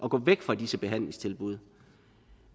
at gå væk fra disse behandlingstilbud